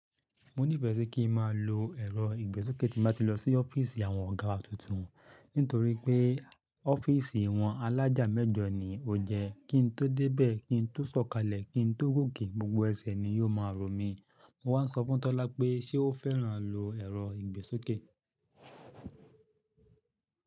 Mo nífẹ̀ẹ́ si kí ń má lo ẹ̀rọ ìgbésókè tí bá tí lọ sí ọ́fíìsì àwọn ọ̀gá wa tuntun nítorí pé ọ́fíìsì wọ́n alájà mẹ́jọ ni ó jẹ́. Kí n tó débẹ̀, kí n tó sọ̀kalẹ̀, kí n tó gòkè, gbogbo ẹsẹ̀ ni yóò máa ro mí. Mo wá sọ fún Tọ́lá pé ṣe ó fẹ́ràn lo ẹ̀rọ ìgbésókè?